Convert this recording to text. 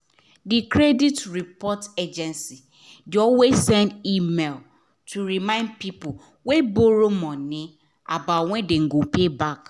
the credit reporting agency de always send email to remind people wey borrow money about when dem go pay back